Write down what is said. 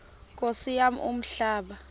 nkosi yam umhlaba